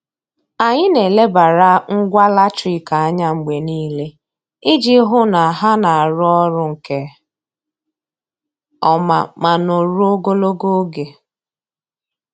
Anyị na-elebara ngwa latrik anya mgbe niile iji hụ na ha na-arụ ọrụ nke ọma ma nọruo ogologo oge.